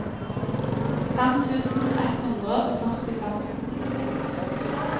fem tusen ett hundre og førtifem